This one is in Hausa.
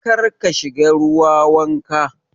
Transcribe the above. Karka shiga ruwa wanka.